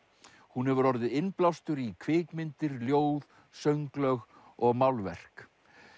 hún hefur orðið innblástur í kvikmyndir ljóð sönglög og málverk